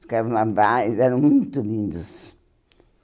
Os carnavais eram muito lindos.